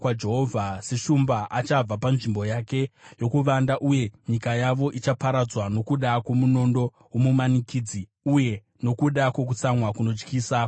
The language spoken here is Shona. Seshumba, achabva panzvimbo yake yokuvanda, uye nyika yavo ichaparadzwa nokuda kwomunondo womumanikidzi, uye nokuda kwokutsamwa kunotyisa kwaJehovha.